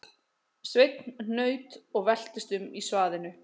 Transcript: Sveinn hnaut og veltist um í svaðinu